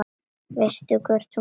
Veistu hvort hún kemur?